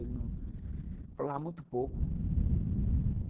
Ele falava muito pouco.